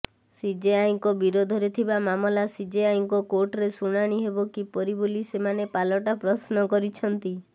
ସିଜେଆଇଙ୍କ ବିରୋଧରେ ଥିବା ମାମଲା ସିଜେଆଇଙ୍କ କୋର୍ଟରେ ଶୁଣାଣି ହେବ କିପରି ବୋଲି ସେମାନେ ପାଲଟା ପ୍ରଶ୍ନ କରିଛନ୍ତି